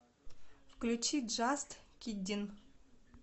включи джаст киддин